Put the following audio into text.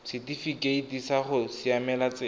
setifikeite sa go siamela tsela